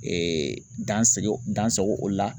dansigi dan sago o la.